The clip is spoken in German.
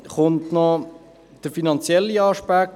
Hinzu kommt der finanzielle Aspekt.